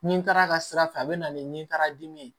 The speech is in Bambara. Ni taara a ka sira fɛ a bɛ na ni nin taara dimi ye